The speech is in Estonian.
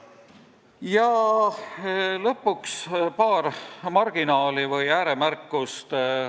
Ja lõpuks paar marginaali ehk ääremärkust.